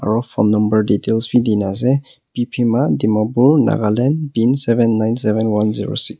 aru phone number details bi dina ase piphema dimapur nagaland pin seven nine seven one zero six .